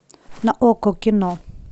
на окко кино